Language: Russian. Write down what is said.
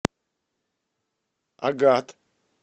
агат